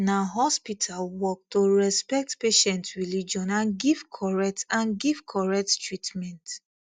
na hospital work to respect patient religion and give correct and give correct treatment